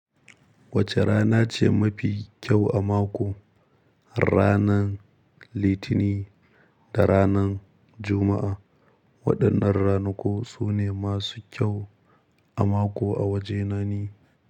Wace rana ce mafi kyau a mako? Ranar Litinin da ranar Juma'a. Waɗannan ranaku su ne masu kyau a mako a waje na ni.